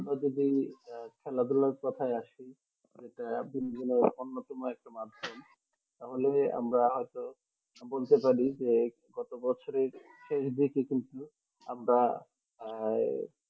খেলাধুলার কোথায় আসি যেটা বিনোদনের অন্যতম একটা মাধ্যম তাহলে আমরা হয়ত বলতে পারি যে গত বছরের শেষ দিকে কিন্তু আমরা আহ